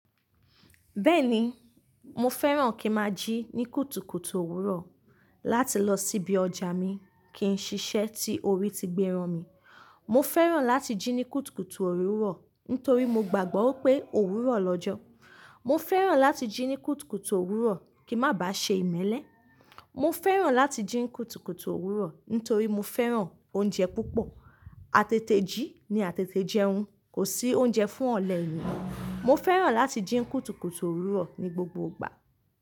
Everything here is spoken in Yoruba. Bẹ́ẹ̀ni, mo fẹ́ràn kí n máa jí ní kùtùkùtù òwúrọ̀ láti lọ sí ibi ọjà mi kí n ṣiṣẹ́ tí orí ti gbé ran mi. Mọ fẹ́ràn láti jí ní kùtùkùtù òwúrọ̀ nítorí mo gbàgbọ́ wipé òwúrọ̀ lọ́jọ́. Mọ fẹ́ràn láti jí ní kùtùkùtù òwúrọ̀ kí má ba ṣe ìmẹ́lẹ́. Mọ fẹ́ràn láti jí ní kùtùkùtù òwúrọ̀ nítorí mo fẹ́ràn oúnjẹ púpọ̀. Àtètè jí ni àtètè jẹun, kò sí oúnjẹ fún ọ̀lẹ́ ènìyàn. Mọ fẹ́ràn láti jí ní kùtùkùtù òwúrọ̀ ní gbogbo ìgbà.